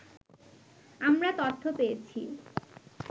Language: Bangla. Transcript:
আমরা তথ্য পেয়েছি